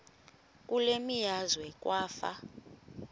kule meazwe kwafa